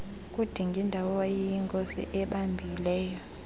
kudingindawo owayeyinkosi ebambileyo